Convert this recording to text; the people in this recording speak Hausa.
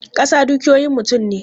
Kasa dukiyoyin mutum ne.